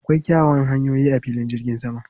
Akwai kyawawan hanyoyi a filin jirgin saman.